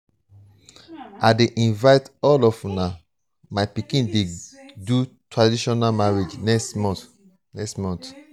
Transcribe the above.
i dey invite all of una my pikin dey do um traditional marriage next month next month